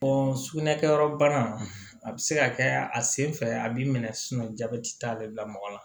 sugunɛ kɛyɔrɔ bana a bɛ se ka kɛ a sen fɛ a b'i minɛ jabɛti t'ale bila mɔgɔ la